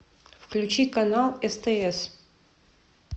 включи канал стс